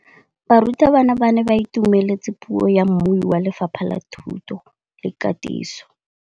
Barutabana ba ne ba itumeletse puô ya mmui wa Lefapha la Thuto le Katiso.